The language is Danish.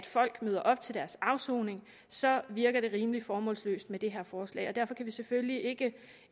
folk møder op til deres afsoning så virker det rimelig formålsløst med det her forslag og derfor kan vi selvfølgelig ikke